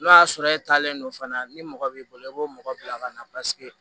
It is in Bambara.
N'o y'a sɔrɔ e taalen don fana ni mɔgɔ b'i bolo i b'o mɔgɔ bila ka na paseke